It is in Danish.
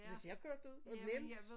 Det ser godt ud og nemt